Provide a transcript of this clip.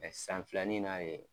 san filanin in na de